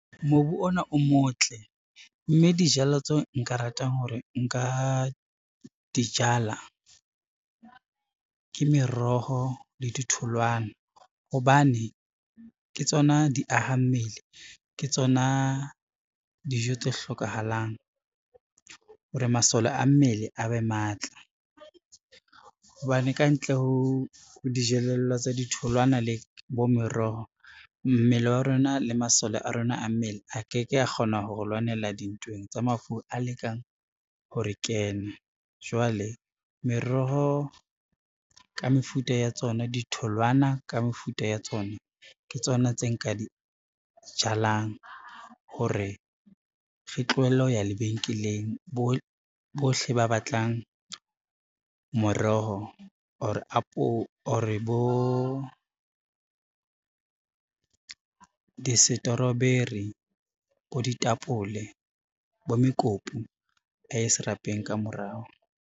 Mobu ona o motle, mme dijalo tseo nka ratang hore nka di jala, ke meroho le ditholwana, hobane ke tsona di aha mmele ke tsona dijo tse hlokahalang hore masole a mmele a be matla. Hobane kantle ho dijelello tsa di tholwana le bo meroho, mmele wa rona le masole a rona a mmele a ke ke a kgona ho lwanela dintweng tsa mafu a lekang ho re kena, jwale meroho ka mefuta ya tsona, ditholwana ka mefuta ya tsona, ke tsona tse nka di jalang hore re tlohelle ho ya lebenkeleng. Bohle ba batlang moroho or bo disetoroberi, bo ditapole, bo mekopu a ye serapeng ka morao.